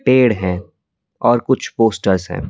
पेड़ हैं और कुछ पोस्टर्स हैं।